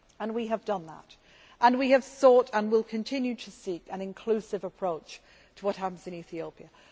We have done that and we have sought, and will continue to seek, an inclusive approach to what happens in Ethiopia.